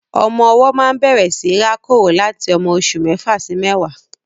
Ọmọ ọwọ́ máa ń bẹ̀rẹ̀ síi rákòrò láti ọmọ oṣù mẹ́fà sí mẹ́wàá.